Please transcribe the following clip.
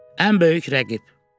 Ən böyük rəqib.